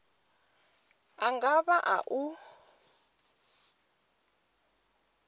a nga vha a u